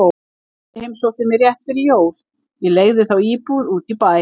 Pabbi heimsótti mig rétt fyrir jól, ég leigði þá íbúð út í bæ.